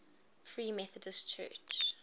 free methodist church